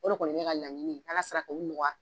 O de kɔni ye ne ka laɲini ye, ni Ala sera k'o nɔgɔya!